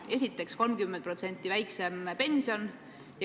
Esiteks, 30% väiksem pension.